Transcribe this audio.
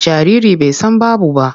Jariri bai san babu ba.